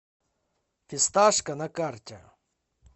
фисташка на карте